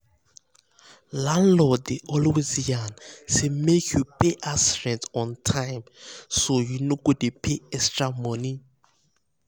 landlord dey always yarn say make you pay house rent on time so you no go dey pay extra money.